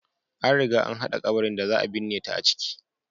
An riga an hada kabarin da za a binne ta a ciki.